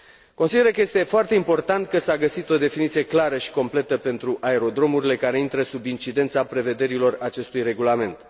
Consider că este foarte important că s a găsit o definiție clară și completă pentru aerodromurile care intră sub incidența prevederilor acestui regulament.